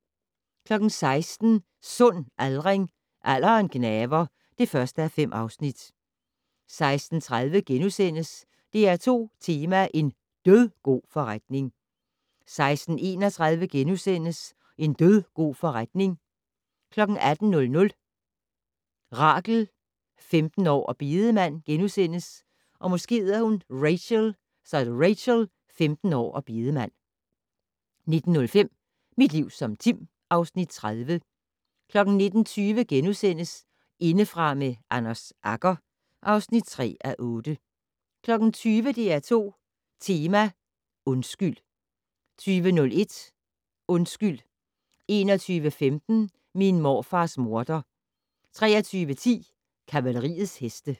16:00: Sund aldring - Alderen gnaver (1:5) 16:30: DR2 Tema: En dødgod forretning * 16:31: En dødgod forretning * 18:00: Rachel - 15 år og bedemand * 19:05: Mit liv som Tim (Afs. 30) 19:20: Indefra med Anders Agger (3:8)* 20:00: DR2 Tema: Undskyld 20:01: Undskyld 21:15: Min morfars morder 23:10: Kavaleriets heste